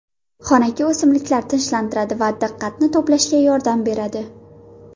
Xonaki o‘simliklar tinchlantiradi va diqqatni to‘plashga yordam beradi.